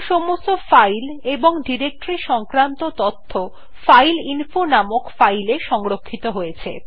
এখন সমস্ত ফাইল এবং ডিরেক্টরী সংক্রান্ত তথ্য ফাইল ফাইলইনফো নামক ফাইল এ সংরক্ষিত হয়েছে